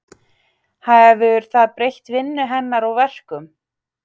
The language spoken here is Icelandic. Hefur það breytt vinnu hennar og verkum?